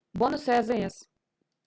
бонусы азс